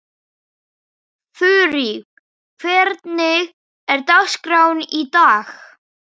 Þurí, hvernig er dagskráin í dag?